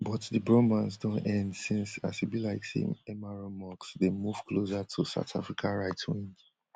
but di bromance don end since as e be like say mr musk dey move closer to south africa right wing